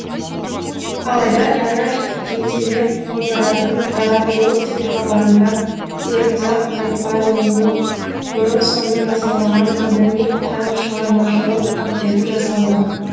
алайда дана жетелеп отыратын дара жол телехабарында өрімзақ айтбайұлының бұрын соңды жасалмаған адами һәм шығармашылық портреті жасалды